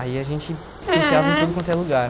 Aí a gente se enfiava em tudo quanto é lugar.